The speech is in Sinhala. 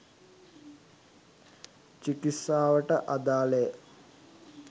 චිකිත්සාවට අදාළ ය